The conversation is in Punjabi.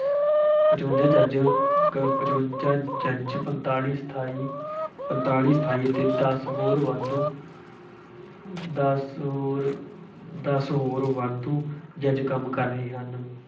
ਪਚਵੰਜ਼ਾ ਜੱਜ, ਕ ਪਚਵੰਜ਼ਾ ਜੱਜ, ਪੰਤਾਲੀ ਸਥਾਈ, ਪੰਤਾਲੀ ਸਥਾਈ ਅਤੇ ਦੱਸ ਹੋਰ ਵਾਧੂ, ਦੱਸ ਹੋਰ, ਦੱਸ ਹੋਰ ਵਾਧੂ ਜੱਜ ਕੰਮ ਕਰ ਰਹੇ ਹਨ।